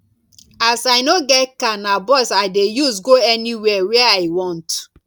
as i no get car na bus i dey use go anywhere wey i want